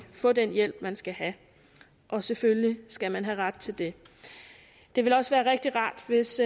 få den hjælp man skal have og selvfølgelig skal man have ret til det det vil også være rigtig rart hvis